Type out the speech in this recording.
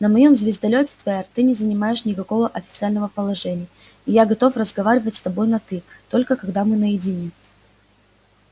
на моём звездолёте твер ты не занимаешь никакого официального положения и я готов разговаривать с тобой на ты только когда мы наедине